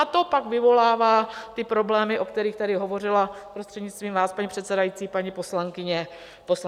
A to pak vyvolává ty problémy, o kterých tady hovořila, prostřednictvím vás, paní předsedající, paní poslankyně Peštová.